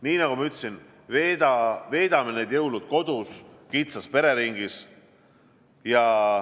Nii nagu ma ütlesin, veedame need jõulud kodus kitsas pereringis.